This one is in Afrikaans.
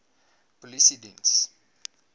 polisiediens